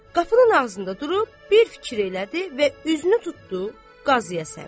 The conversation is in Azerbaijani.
Qapının ağzında durub bir fikir elədi və üzünü tutdu qaziyə səmt.